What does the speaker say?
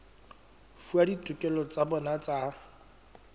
fuwa ditokelo tsa bona tsa